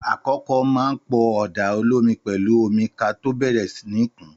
Àkọkọ mà ń pọ Ọ̀dá òlòmí pẹ̀lú ọ̀mí kà tọ bẹẹrẹ ni kún